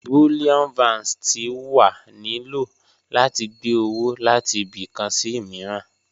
Bullion Vans ti wa ni lo lati gbe owo lati ibi kan si miiran.